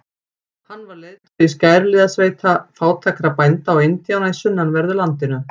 Hann var leiðtogi skæruliðasveita fátækra bænda og indjána í sunnanverðu landinu.